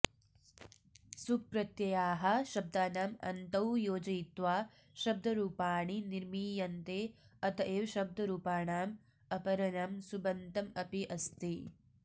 सुप् प्रत्ययाः शब्दानाम् अन्तौ योजयित्वा शब्दरूपाणि निर्मीयन्ते अतएव शब्दरूपाणाम् अपरनाम सुबन्तमपि अस्ति